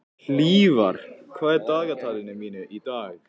Hlífar, hvað er á dagatalinu mínu í dag?